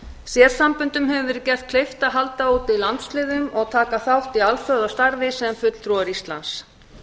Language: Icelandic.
sérsamböndum hefur verið gert kleift að halda úti landsliðum og taka þátt í alþjóðastarfi sem fulltrúar íslands